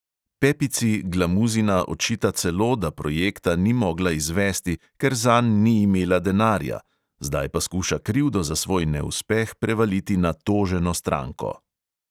Pepici glamuzina očita celo, da projekta ni mogla izvesti, ker zanj ni imela denarja, zdaj pa skuša krivdo za svoj neuspeh prevaliti na toženo stranko.